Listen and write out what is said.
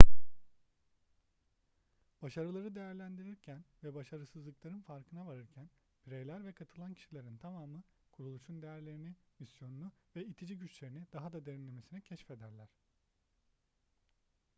başarıları değerlendirirken ve başarısızlıkların farkına varırken bireyler ve katılan kişilerin tamamı kuruluşun değerlerini misyonunu ve itici güçlerini daha da derinlemesine keşfederler